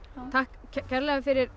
takk kærlega fyrir